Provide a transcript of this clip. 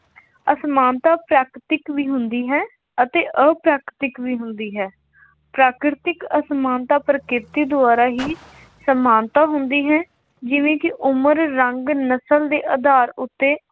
ਅਸਮਾਨਤਾ ਫੈਕਟਿਕ ਵੀ ਹੁੰਦੀ ਹੈ ਅਤੇ ਅਫੈਕਟਿਕ ਵੀ ਹੁੰਦੀ ਹੈ। ਪ੍ਰਾਕ੍ਰਿਤਕ ਅਸਮਾਨਤਾ ਪ੍ਰਕਿਰਤੀ ਦੁਆਰਾ ਹੀ ਸਮਾਨਤਾ ਹੁੰਦੀ ਹੈ ਜਿਵੇਂ ਕਿ ਉਮਰ, ਰੰਗ, ਨਸਲ, ਦੇ ਆਧਾਰ ਉੱਤੇ